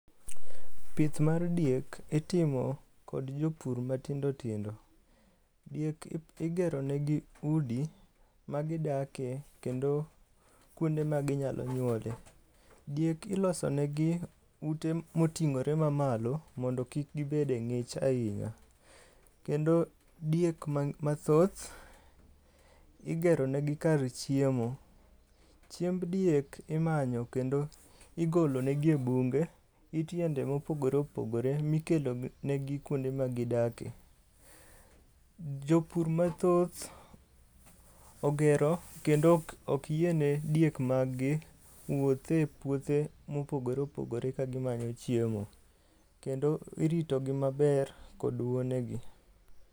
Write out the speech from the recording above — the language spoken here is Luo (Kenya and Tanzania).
Pith mar diek itimo kod jopur matindo tindo. Diek igeronegi udi ma gidake kendo kuonde ma ginyalo nyuole. Diek ilosonegi ute moting'ore mamalo mondo kik gibed e ng'ich ainya, kendo diek mathoth igero negi kar chiemo. Chiemb diek imanyo kendo igolo negi e bunge, it yiende mopogore opogore mikelo negi kuonde magi dake. Jopur mathoth ogero kendo ok yie ne diek mag gi wuoth e puothe mopogore opogore ka gimanyo chiemo, kendo iritogi maber kod wuonegi.